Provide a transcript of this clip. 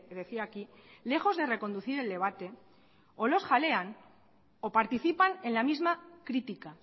decía aquí lejos de reconducir el debate o los jalean o participan en la misma crítica